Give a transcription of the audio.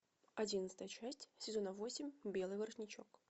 одиннадцатая часть сезона восемь белый воротничок